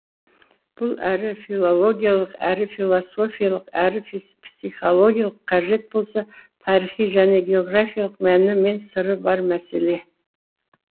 бұл әрі филологиялық әрі философиялық әрі психологиялық қажет болса тарихи және географиялық мәні мен сыры бар мәселе